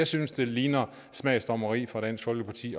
synes ligner smagsdommeri fra dansk folkepartis